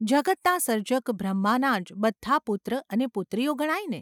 જગતના સર્જક બ્રહ્માનાં જ બધાં પુત્ર અને પુત્રીઓ ગણાય ને?